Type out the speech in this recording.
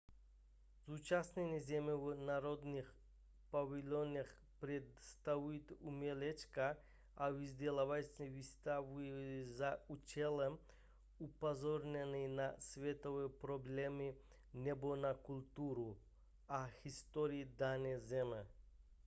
zúčastněné země v národních pavilonech představují umělecké a vzdělávací výstavy za účelem upozornění na světové problémy nebo na kulturu a historii dané země